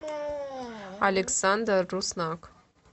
александр руснак